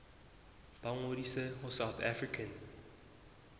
ba ngodise ho south african